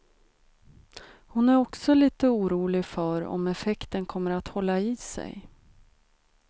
Hon är också lite orolig för om effekten kommer att hålla i sig.